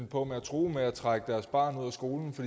på at true med at trække deres barn ud af skolen